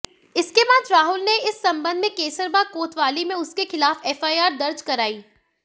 इसके बाद राहुल ने इस संबंध में कैसरबाग कोतवाली में उसके खिलाफ एफआईआर दर्ज करायी